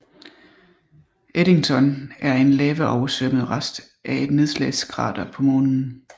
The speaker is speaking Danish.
Eddington er en lavaoversvømmet rest af et nedslagskrater på Månen